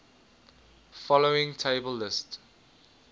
following table lists